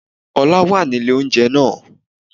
Ọlá wà nílé oúnjẹ náà